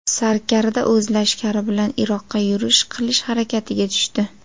Sarkarda o‘z lashkari bilan Iroqqa yurish qilish harakatiga tushdi.